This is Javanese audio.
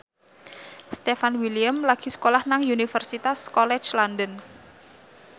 Stefan William lagi sekolah nang Universitas College London